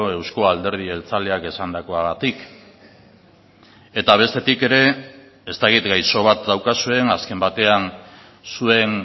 euzko alderdi jeltzaleak esandakoagatik eta bestetik ere ez dakit gaixo bat daukazuen azken batean zuen